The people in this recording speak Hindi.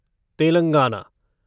तेलंगाना